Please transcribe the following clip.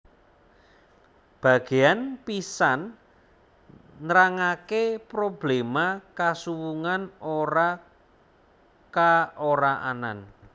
Bagéan pisan nrangaké probléma kasuwungan ora ka ora anan